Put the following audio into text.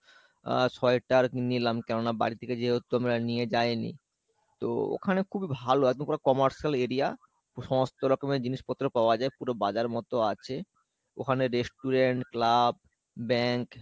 আহ sweater নিলাম কেননা বাড়ি থেকে যেহেতু আমরা নিয়ে যায়নি, তো ওখানে খুবই ভালো একদম পুরো commercial area সমস্ত রকমের জিনিস পত্র পাওয়া যাই পুরো বাজার মত আছে ওখানে restaurant, club, bank,